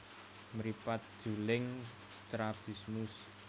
Mripat juling strabismus